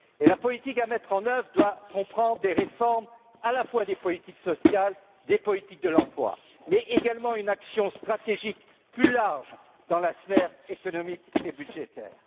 Et la politique à mettre en œuvre doit comprendre des réformes à la fois des politiques sociales et des politiques de l'emploi, mais également une action stratégique plus large dans la sphère économique et budgétaire.